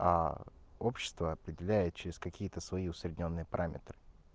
а общество определяет через какие-то свои усреднённые параметры